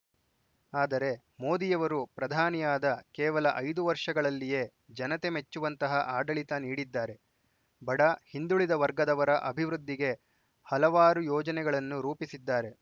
ಆದರೆ ಮೋದಿಯವರು ಪ್ರಧಾನಿಯಾದ ಕೇವಲ ಐದು ವರ್ಷಗಳಲ್ಲಿಯೇ ಜನತೆ ಮೆಚ್ಚುವಂತಹ ಆಡಳಿತ ನೀಡಿದ್ದಾರೆ ಬಡ ಹಿಂದುಳಿದ ವರ್ಗದವರ ಅಭಿವೃದ್ಧಿಗೆ ಹಲವಾರು ಯೋಜನೆಗಳನ್ನು ರೂಪಿಸಿದ್ದಾರೆ